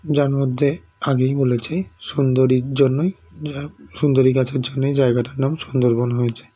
যার মধ্যে আগেই বলেছি সুন্দরীর জন্যই যা সুন্দরী গাছের জন্যই জায়গাটার নাম সুন্দরবন হয়েছে